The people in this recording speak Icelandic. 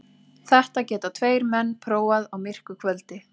Þetta geta tveir menn prófað á myrku kvöldi.